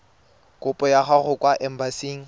kopo ya gago kwa embasing